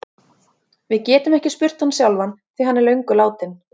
Við getum ekki spurt hann sjálfan því hann er löngu látinn.